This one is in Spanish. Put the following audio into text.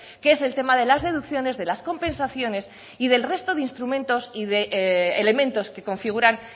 que es el tema de las deducciones de las compensaciones y del resto de instrumentos y de elementos que configuran